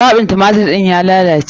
Kwaɓin tumatir ɗin ya lalace.